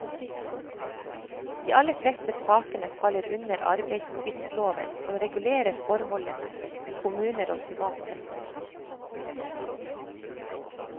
De aller fleste sakene faller under arbeidstvistloven som regulerer forholdene i kommuner og privat sektor.